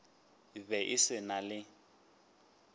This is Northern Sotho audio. be e se na le